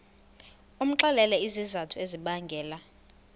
umxelele izizathu ezibangela